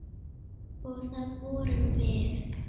Og það vorum við.